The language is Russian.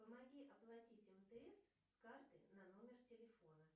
помоги оплатить мтс с карты на номер телефона